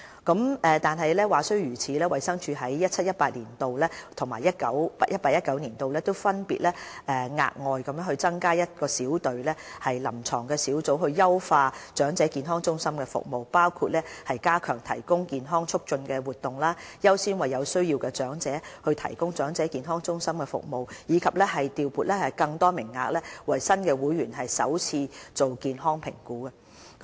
話雖如此，衞生署於 2017-2018 年度和 2018-2019 年度，分別額外增加一隊臨床小組，以優化長者健康中心的服務，其工作包括加強提供健康促進活動、優先為有需要的長者提供長者健康中心的服務，以及調撥更多名額為新會員進行首次健康評估。